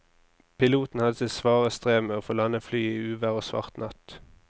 Piloten hadde sitt svare strev med å få landet flyet i uvær og svart natt.